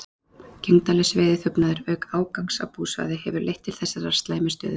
Gegndarlaus veiðiþjófnaður, auk ágangs á búsvæði, hefur leitt til þessarar slæmu stöðu.